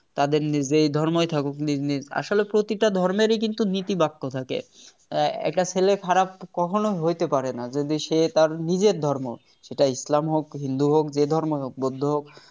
তাদের নিজেদের ধর্মই থাকুক নিজ নিজ আসলে প্রতিটা ধর্মেরই কিন্তু নীতি বাক্য থাকে একটা ছেলে খারাপ কখনো হইতে পারে না যদি সে তার নিজের ধর্ম সেটা ইসলাম হোক হিন্দু হোক যে ধর্মই হোক বৌদ্ধ হোক